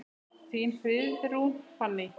Þín, Friðrún Fanný.